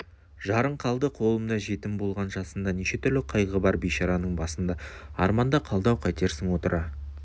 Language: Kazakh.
жарың қалды қолымда жетім болған жасында неше түрлі қайғы бар бейшараның басында арманда қалды-ау қайтерсің отыра